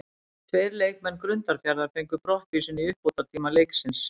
Tveir leikmenn Grundarfjarðar fengu brottvísun í uppbótartíma leiksins.